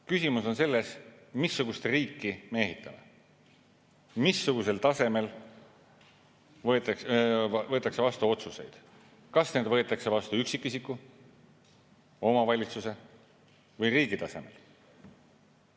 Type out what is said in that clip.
Küsimus on selles, missugust riiki me ehitame, missugusel tasemel võetakse vastu otsuseid: kas need võetakse vastu üksikisiku, omavalitsuse või riigi tasemel.